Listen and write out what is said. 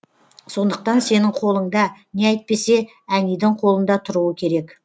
сондықтан сенің қолыңда не әйтпесе әнидің қолында тұруы керек